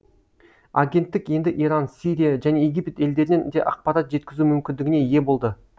агенттік енді иран сирия және египет елдерінен де ақпарат жеткізу мүмкіндігіне ие болды